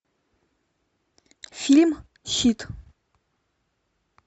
фильм щит